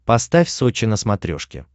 поставь сочи на смотрешке